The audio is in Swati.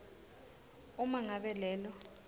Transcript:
uma ngabe lelo